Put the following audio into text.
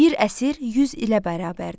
Bir əsr 100 ilə bərabərdir.